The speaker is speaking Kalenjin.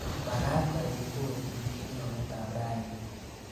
Magaat aibu kotit kemboutab raini